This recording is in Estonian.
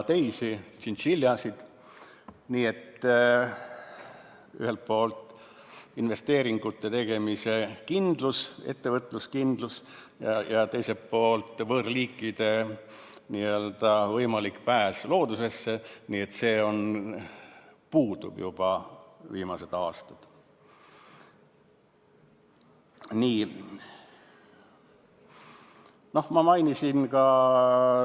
Nii et ühelt poolt investeeringute tegemise kindlus, ettevõtluskindlus, ja teiselt poolt võõrliikide n-ö võimalik pääs loodusesse, mis puudub juba viimased paar aastat.